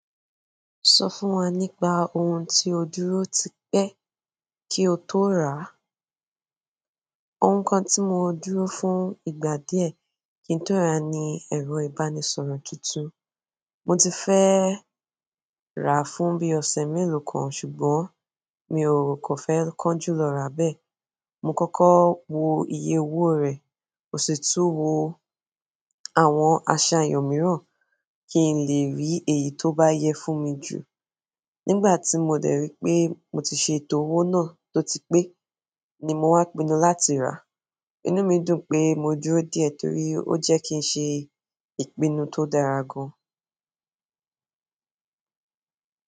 Sọ fún wa nípa ohun tí o dúró ti pẹ́ kí o tó rá. Ohun kan ti mo dúró fún ìgbà díẹ̀ ki n to ra ni ero ìbánisọ̀rọ̀ tuntun, mo ti fe rà fún bí ọ̀sẹ̀ mélòó kan, ṣùgbọ́n mi ò kàn fẹ́ kánjú lọ rà bẹ́ẹ̀. Mo kọ́kọ́ wo iye owó rẹ̀, mó sì tú wo àwọn aṣà eyàn míràn kí n lè rí èyí tó bá yẹ fún mi jù. Nígbà tí mo dẹ̀ rí pé mo ti ṣe ètò owó náà tó ti pé ni mo wá pinu láti rà. Inú mi dùn pé mo dúró díẹ̀ torí ó jẹ́ kí n ṣe ìpinnu tó dára gan.